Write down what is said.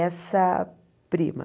Essa prima.